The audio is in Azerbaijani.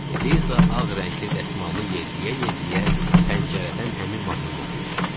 Liza ağ rəngli dəsmalını yelləyə-yelləyə pəncərədən həmin mahnını oxuyur.